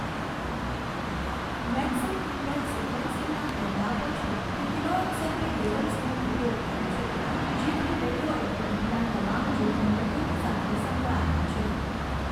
Maxam Gilbert સિક્વન્સીંગના ગેરલાભો છે તે કિરણોત્સર્ગી લેબલ્સનો ઉપયોગ કરે છે, જેથી રેડિયોઍક્ટિવિટીના તમામ જોખમો તેની સાથે સંકળાયેલા છે.